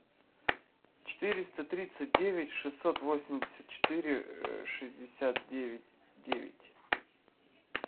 четыреста тридцать девять шестьсот восемьдесят четыре шестьдесят девять девять